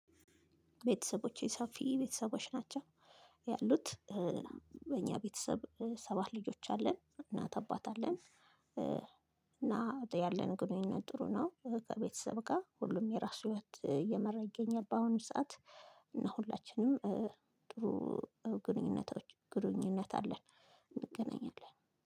ቤተሰቦቼ ሰፊ ቤተሰቦች ናቸው ያሉት። በእኛ ቤተሰብ ሰባት ልጆች አለን እናት አባት አለን። እና ያለን ግንኙነት ጥሩ ነው። ከቤተሰብ ጋር ሁሉም የራሱ ህይወት እየመራ ይገኛል። በአሁኑ ሰዓት እና ሁላችንም ጥሩ ግንኙነቶች ግንኙነት አለን። እንገናኛለን